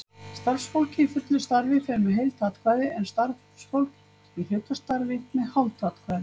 Starfsfólk í fullu starfi fer með heilt atkvæði, en starfsfólk í hlutastarfi með hálft atkvæði.